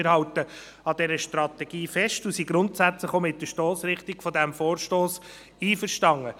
Wir halten an dieser Strategie fest und sind grundsätzlich auch mit der Stossrichtung dieses Vorstosses einverstanden.